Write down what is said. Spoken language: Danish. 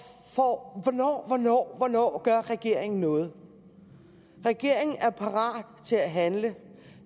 får spørgsmål hvornår hvornår hvornår gør regeringen noget regeringen er parat til at handle